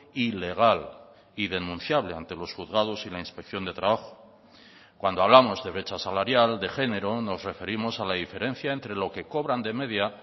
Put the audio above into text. ilegal y denunciable ante los juzgados y la inspección de trabajo cuando hablamos de brecha salarial de género nos referimos a la diferencia entre lo que cobran de media